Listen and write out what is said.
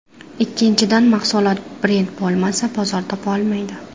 Ikkinchidan, mahsulot brend bo‘lmasa, bozor topa olmaydi.